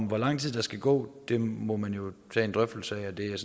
hvor lang tid der skal gå må man jo tage en drøftelse af og det